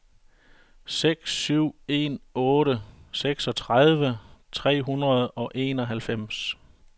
seks syv en otte seksogtredive tre hundrede og enoghalvfems